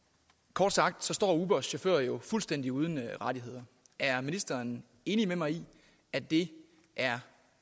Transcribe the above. kort sagt står ubers chauffører jo fuldstændig uden rettigheder er ministeren enig med mig i at det er